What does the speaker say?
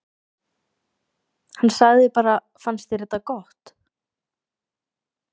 Hann sagði bara: Fannst þér þetta gott?